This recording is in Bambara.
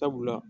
Sabula